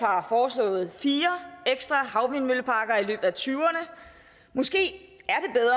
har foreslået fire ekstra havvindmølleparker i løbet af tyverne måske